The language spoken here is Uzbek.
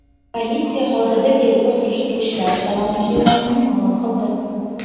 Politsiya hozirda tergov-surishtiruv ishlari davom etayotganini ma’lum qildi.